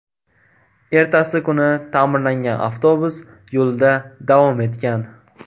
Ertasi kuni ta’mirlangan avtobus yo‘lida davom etgan.